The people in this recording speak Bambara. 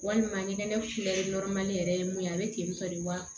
Walima ɲɛgɛn kulɛri yɛrɛ ye mun ye a bɛ ten tɔ de wa